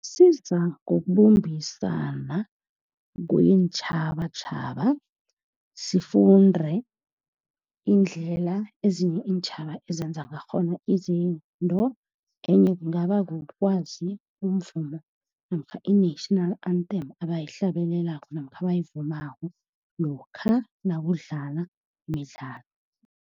Isiza ngokubambisana kweentjhabatjhaba, sifunde indlela ezinye iintjhaba ezenza ngakhona izinto, enye kungaba kukwazi umvumo namkha i-national item abayihlabelelako, namkha abavumako lokha nakudlalwa imidlalo.